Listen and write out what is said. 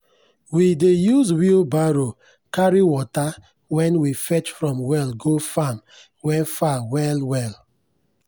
we dey use wheelbarrow carry water wen we fetch from well go farm wen far well well.